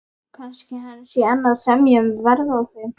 Kannski hann sé enn að semja um verð á þeim.